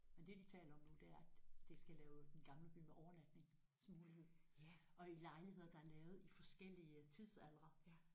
Men det de taler om nu det er at det skal lave Den Gamle By med overnatningsmulighed og i lejligheder der er lavet i forskellige tidsaldre